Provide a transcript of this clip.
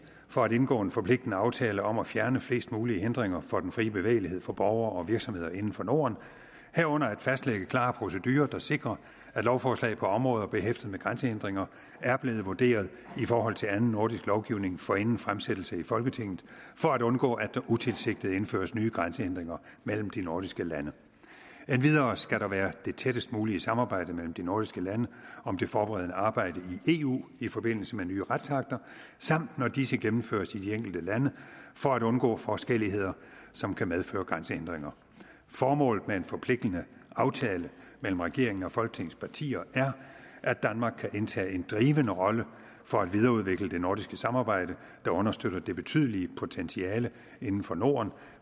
for at indgå en forpligtende aftale om at fjerne flest mulige hindringer for den frie bevægelighed for borgere og virksomheder inden for norden herunder fastlægge klare procedurer der sikrer at lovforslag på områder behæftet med grænsehindringer er blevet vurderet i forhold til anden nordisk lovgivning forinden fremsættelse i folketinget for at undgå at der utilsigtet indføres nye grænsehindringer mellem de nordiske lande endvidere skal der være det tættest mulige samarbejde mellem de nordiske lande om det forberedende arbejde i eu i forbindelse med nye retsakter samt når disse gennemføres i de enkelte lande for at undgå forskelligheder som kan medføre grænsehindringer formålet med en forpligtende aftale mellem regeringen og folketingets partier er at danmark kan indtage en drivende rolle for at videreudvikle det nordiske samarbejde der understøtter det betydelige potentiale inden for norden